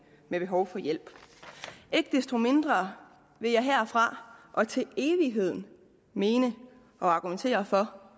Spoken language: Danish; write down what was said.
med behov for hjælp ikke desto mindre vil jeg herfra og til evigheden mene og argumentere for